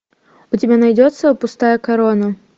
у тебя найдется пустая корона